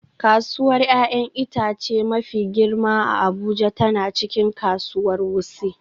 Kasuwar 'ya'yan itace mafi girma a Abuja tana cikin kasuwar Wuse